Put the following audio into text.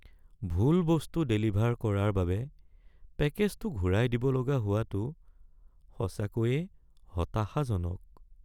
ভুল বস্তু ডেলিভাৰ কৰাৰ বাবে পেকেজটো ঘূৰাই দিব লগা হোৱাটো সঁচাকৈয়ে হতাশাজনক।